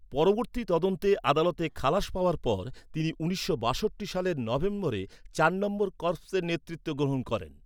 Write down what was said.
পরবর্তী তদন্তে আদালতে খালাস পাওয়ার পর, তিনি উনিশশো বাষট্টি সালের নভেম্বরে চার নম্বর কর্পসের নেতৃত্ব গ্রহণ করেন।